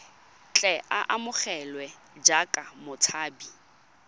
tle a amogelwe jaaka motshabi